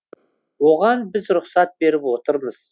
оған біз рұқсат беріп отырмыз